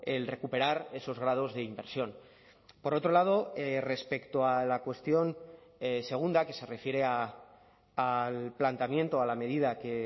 el recuperar esos grados de inversión por otro lado respecto a la cuestión segunda que se refiere al planteamiento a la medida que